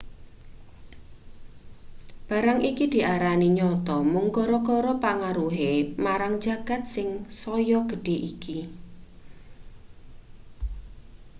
barang iki diarani nyata mung gara-gara pengaruhe marang jagat sing saya gedhe iki